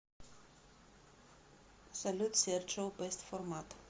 салют серджио бэст формат